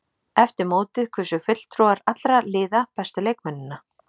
Eftir mótið kusu fulltrúar allra liða bestu leikmennina.